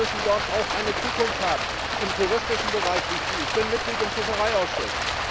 Die Menschen müssen dort auch eine Zukunft haben, im touristischen Bereich ich bin Mitglied im Fischereiausschuss.